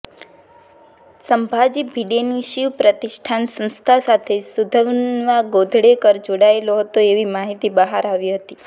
સંભાજી ભિડેની શિવ પ્રતિષ્ઠાન સંસ્થા સાથે સુધન્વા ગોંધળેકર જોડાયેલો હતો એવી માહિતી બહાર આવી હતી